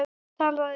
Hann talaði um